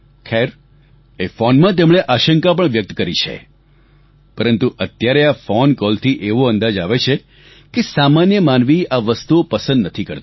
ખૈર એ ફોનમાં તેમણે આશંકા પણ વ્યક્ત કરી છે પરંતુ અત્યારે આ ફોન કોલથી એવો અંદાજ આવે છે કે સામાન્ય માનવી આ વસ્તુઓ પસંદ નથી કરતો